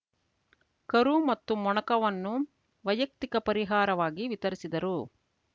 ಕರು ಮತ್ತು ಮೊಣಕವನ್ನು ವೈಯಕ್ತಿಕ ಪರಿಹಾರವಾಗಿ ವಿತರಿಸಿದರು